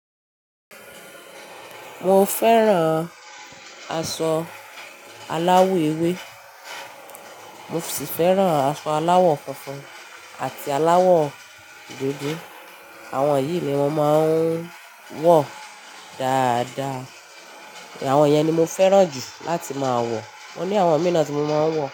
Mo fẹ́ràn aṣọ aláwọ̀ ewé, mo sì fẹ́ràn aṣọ aláwọ̀ funfun àti aláwọ̀ dúdú. Àwọn yìí ni wọ́n máa ń wọ dáadáa. Àwọn yẹn ni mo fẹ́ràn jù láti máa wọ. Mo ní àwọn míìnà tí mo máa ń wọ.